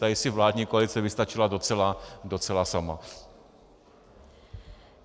Tady si vládní koalice vystačila docela sama.